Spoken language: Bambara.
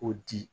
O di